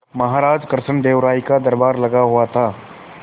महाराज कृष्णदेव राय का दरबार लगा हुआ था